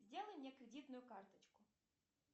сделай мне кредитную карточку